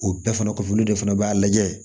O bɛɛ fana kɔfɛ olu de fana b'a lajɛ